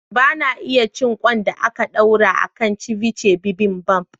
Ba na iya cin ƙwan da ake ɗorawa a kan "ceviche bibimbap".